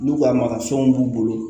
N'u ka marafɛnw b'u bolo